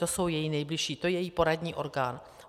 To jsou její nejbližší, to je její poradní orgán.